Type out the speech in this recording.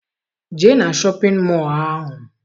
Jee na shọpịn mọọ ahụ!